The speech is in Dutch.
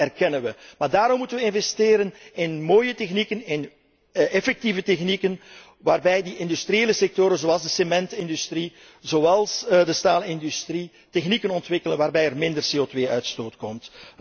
Dat erkennen we. Maar daarom moeten we investeren in mooie technieken, in effectieve technieken waarbij die industriële sectoren zoals de cementindustrie, zoals de staalindustrie, technieken ontwikkelen waarbij er minder CO2 uitstoot komt.